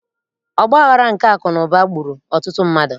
Ọgbaghara nke akụnaụba gburu ọtụtụ mmadụ